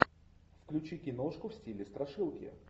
включи киношку в стиле страшилки